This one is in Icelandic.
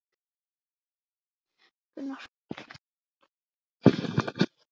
Í hinni fjölskyldunni voru unglingar á ýmsum aldri.